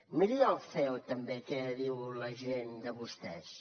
miri al ceo també què diu la gent de vostès